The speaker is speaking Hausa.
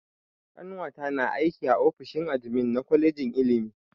Ƙanwata na aiki a ofishin admin na kwalejin ilimi.